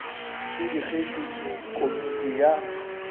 e digetšwe ke komiti ya